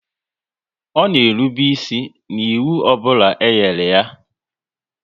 Ọ na erube isi n'ịwụ ọbụla e nyere ya